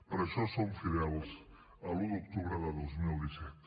per això som fidels a l’un d’octubre de dos mil disset